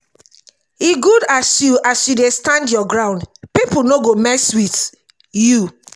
e good as you as you dey stand your ground pipo no go mess wit you.